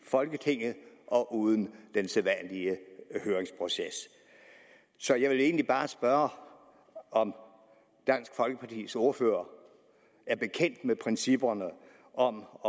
folketinget og uden den sædvanlige høringsproces så jeg vil egentlig bare spørge om dansk folkepartis ordfører er bekendt med principperne om